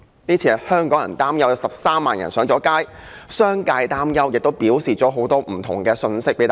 這次擔憂令13萬人上街，商界也有很多不同的擔憂。